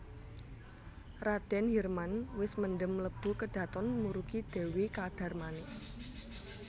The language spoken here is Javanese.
Radèn Hirman wis mendhem mlebu kedhaton murugi Dèwi Kadarmanik